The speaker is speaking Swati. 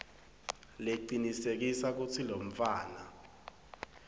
lecinisekisa kutsi lomntfwana